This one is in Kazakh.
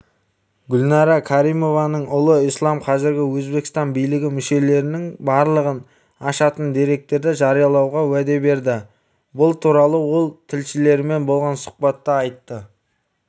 гүлнара каримованың ұлы ислам қазіргі өзбекстан билігі мүшелерінің былығын ашатын деректерді жариялауға уәде берді бұл туралы ол тілшілерімен болған сұхбатта айтты